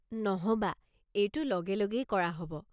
নহ'বা, এইটো লগে লগেই কৰা হ'ব।